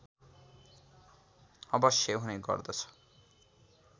अवश्य हुने गर्दछ